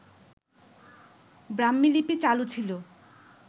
ব্রাহ্মীলিপি চালু ছিল